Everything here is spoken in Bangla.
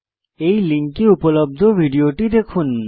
এই লিঙ্কে উপলব্ধ ভিডিওটি দেখুন